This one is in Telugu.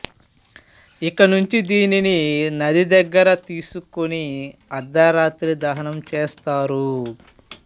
ఇకనుంచి దీనిని నది దగ్గర తీసుకొని అర్ధరాత్రి దహనం చేశారు